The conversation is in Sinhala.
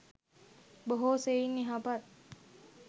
බොහෝ සෙයින් යහපත්